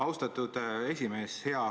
Austatud esimees!